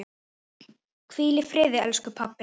Hvíl í friði, elsku pabbi.